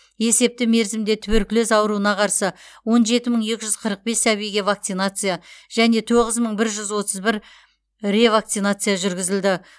есепті мерзімде туберкулез ауруына қарсы он жеті мың екі жүз қырық бес сәбиге вакцинация және тоғыз мың бір жүз отыз бір ревакцинация жүргізілді